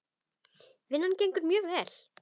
Vinnan gengur mjög vel.